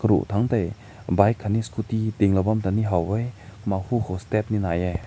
wo tang te bike kane scooti ding na lao ne haw weh.